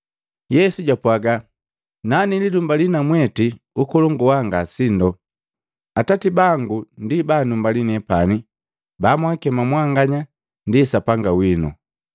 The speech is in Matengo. Yesu japwaga, “Nanililumbali na mwete ukolongu waa nga sindo, Atati bangu ndi ba anumbali nepani ba mwakema mwanganya ndi Sapanga wino.